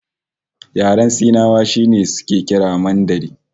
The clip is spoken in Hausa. Yaren Sinawa shi suke kira Mandarin